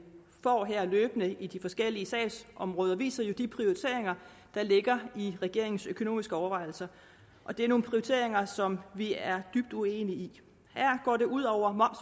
får løbende i de forskellige sagsområder viser jo de prioriteringer der ligger i regeringens økonomiske overvejelser og det er nogle prioriteringer som vi er dybt uenige i her går det ud over